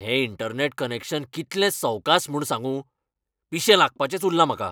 हें internet connection कितलें सवकास म्हूण सांगूं? पिशें लागपाचेंच उरलां म्हाका!